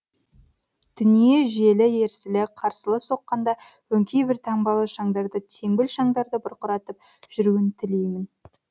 дүние желі ерсілі қарсылы соққанда өңкей бір таңбалы шаңдарды теңбіл шаңдарды бұрқыратып жүруін тілеймін